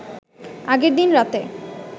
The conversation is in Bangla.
আগের দিন রাতে